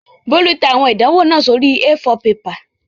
Bólú tẹ àwọn ìdánwò náà sórí A4 pepà